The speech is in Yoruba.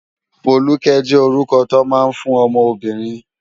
Foluke jé órúkò tó má n fún òmò óbìrín